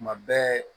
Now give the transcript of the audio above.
Tuma bɛɛ